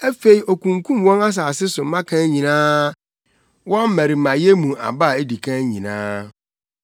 Afei okunkum wɔn asase so mmakan nyinaa, wɔn mmarimayɛ mu aba a edi kan nyinaa.